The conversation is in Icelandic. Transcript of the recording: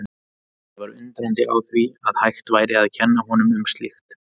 Ég var undrandi á því að hægt væri að kenna honum um slíkt.